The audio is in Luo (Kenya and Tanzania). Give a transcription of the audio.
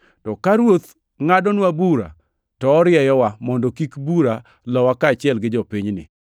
To ka Ruoth ngʼadonwa bura to orieyowa mondo kik bura lowa kaachiel gi jopinyni.